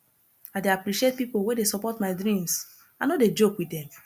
i dey appreciate pipo wey dey support my dreams i no dey joke wit dem